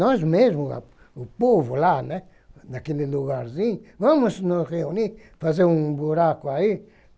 Nós mesmos, o povo lá, né, naquele lugarzinho, vamos nos reunir, fazer um buraco aí.